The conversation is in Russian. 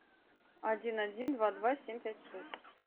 один один два два семь пять шесть